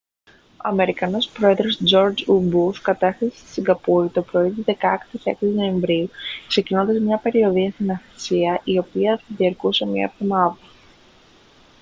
ο αμερικανός πρόεδρος τζορτζ ου μπους κατέφθασε στη σιγκαπούρη το πρωί της 16ης νοεμβρίου ξεκινώντας μια περιοδεία στην ασία η οποία θα διαρκούσε μία εβδομάδα